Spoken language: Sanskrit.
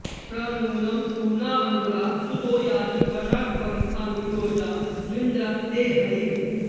प्र नू॒नं पू॒र्णव॑न्धुरः स्तु॒तो या॑हि॒ वशा॒ँ अनु॒ योजा॒ न्वि॑न्द्र ते॒ हरी॑